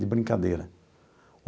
De brincadeira.